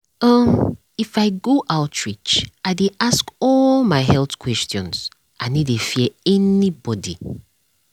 um if i go outreach i dey ask all my health questions i no dey fear anybody.